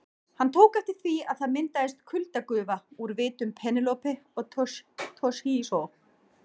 Hann tók eftir því að það myndaðist kuldagufa úr vitum Penélope og Toshizo.